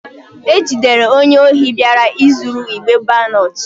E jidere onye ohi bịara izuru igbe balọt.